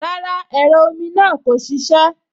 Rárá, ẹ̀rọ omi náà kò ṣiṣẹ́